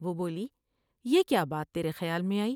وہ بولی یہ کیا بات تیرے خیال میں آئی ۔